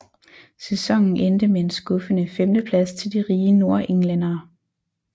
Sæsonen endte med en skuffende femteplads til de rige nordenglændere